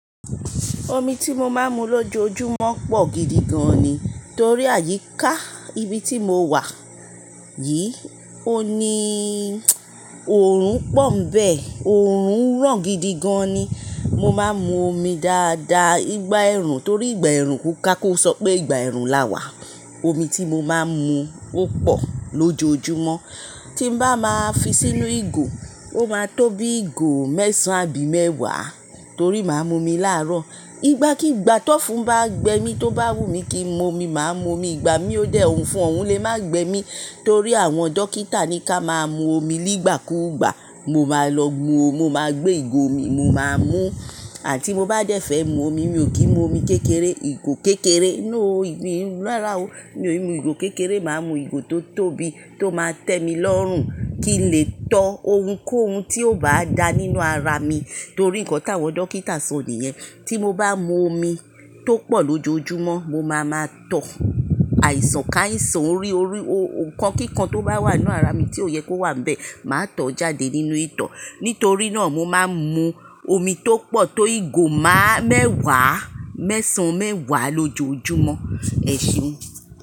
Omi tí mo máa ń mu lójoojúmọ́ pọ̀ gidi gan ni. Torí àyíká ibi tí mo wà yìí, ó ní òòrùn pọ́ nibẹ́ẹ̀. Òòrùn ràn gidi gan ni. Mo máa ń mu omi dáadáa. Nigba ẹrùn torí ìgbà ẹrùn kú ká kó sọ pé ìgbà ẹrùn la wà. Omi tí mo máa ń mu ó pọ̀ lójoojúmọ́. Tí n bá máa fi sí inú ìgò, ó máa tó bí ìgò mẹ́sàn-án bí mẹ́wàá torí màá mú omi láàárọ̀. Igba kí ìgbà tó fún bá gbe mí tó bá wù mí kí mo mu omi, màá mu omi. Ìgbà mí ó dẹ̀ ọ̀ún ofún, ọ̀ún lè má gbe mi torí àwọn dókítà ní ká máa mu omi nígbà kú ìgbà. Mo máa lọ mu omi, mo máa gbé ìgò omi, mo máa mú. Àti mo bá dẹ̀ fẹ́ mu omi, mi ò kí ń mu omi kékeré, ìgò kékeré. Noo, ìgbà erú lára o. Mi ò lè mu ìgò kékeré, màá mu ìgò tó tóbi tó máa tẹ́mi lọ́rùn kí n lè tọ́ ohun kóhun tí ó bá dà nínú ara mi torí nǹkan tí àwọn dókítà sọ nìyẹn. Tí mo bá mu omi tó pọ̀ lójoojúmọ́, mo máa máa tọ̀ àìsàn káàisàn, orí orí, nkankan kíkan tó bá wà nínú ara mi tí ó yẹ kó wà níbẹ̀, màá tọ̀ ọ́ jáde nínú itọ́. Nítorí náà mo máa ń mu omi tó pọ̀ tó ìgò máà mẹ́wàá mẹ́sàn-án mẹ́wàá lójoojúmọ́. Ẹ̀ se.